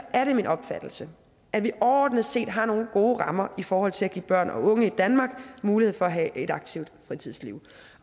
er det min opfattelse at vi overordnet set har nogle gode rammer i forhold til at give børn og unge i danmark mulighed for at have et aktivt fritidsliv